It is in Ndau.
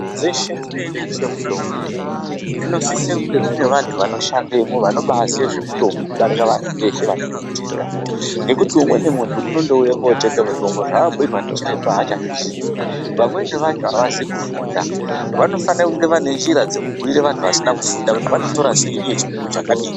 Dzeshe dzinotengeswe mutombo dzinosise kunge dzine vantu vanoshandemwo vanobaaziye zvemutombo kudarika vantu veshe vanouye kutenga. Nekuti umweni muntu unondouye kutenge mutombo zvabhuirwa ndichiremba haachazvizii. Vamweni vacho havazi kufunda, vanofane kunge vane njire dzekubhuira vantu vasina kufunda kuti vanotora sei uye chipimo chakadini.